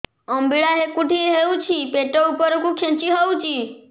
ଅମ୍ବିଳା ହେକୁଟୀ ହେଉଛି ପେଟ ଉପରକୁ ଖେଞ୍ଚି ହଉଚି